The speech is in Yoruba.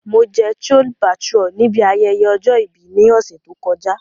Mo jẹ Chole Bhature nibi ayẹyẹ ọjọ-ibi ni ọsẹ to kọja.